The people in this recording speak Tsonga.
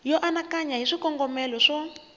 yo anakanya hi swikongomelo swo